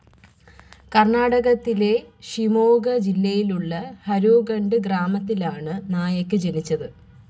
കർണാടകത്തിലെ ഷിമോഗ ജില്ലയിലുള്ള ഹരോഗഡ് ഗ്രാമത്തിൽ ആണ് നായക് ജനിച്ചത്.